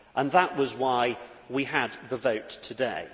That was why we had the vote today.